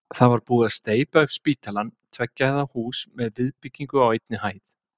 Það var búið að steypa upp spítalann, tveggja hæða hús með viðbyggingu á einni hæð.